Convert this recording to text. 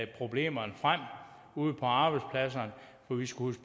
problemerne frem ude på arbejdspladserne